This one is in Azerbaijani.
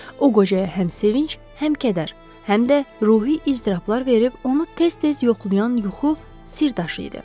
O qocaya həm sevinc, həm kədər, həm də ruhi iztirablar verib onu tez-tez yoxlayan yuxu sirdaşı idi.